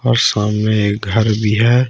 और सामने एक घर भी है।